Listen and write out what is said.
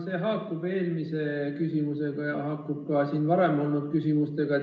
See haakub eelmise küsimusega ja ka siin varem olnud küsimustega.